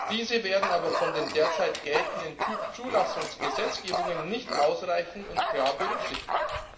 Diese werden aber von den derzeit geltenden Typzulassungs Gesetzgebungen nicht ausreichend und klar berücksichtigt.